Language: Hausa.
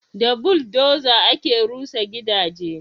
Da buldoza ake rusa gidaje